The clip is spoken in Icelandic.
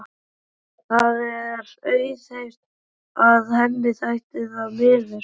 Það er auðheyrt að henni þætti það miður.